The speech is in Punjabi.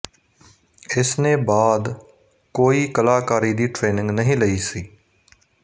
ਇਸਨੇ ਬਾਅਦ ਕੋਈ ਕਲਾਕਰੀ ਦੀ ਟ੍ਰੇਨਿੰਗ ਨਹੀਂ ਲਈ ਸੀ